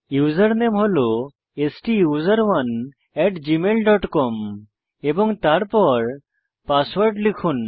username হল STUSERONE gmailকম এবং তারপর পাসওয়ার্ড লিখুন